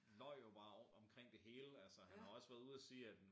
Løj jo bare omkring det hele altså han har også været ude og sige at